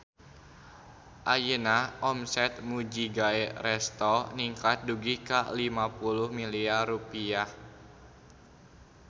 Ayeuna omset Mujigae Resto ningkat dugi ka 50 miliar rupiah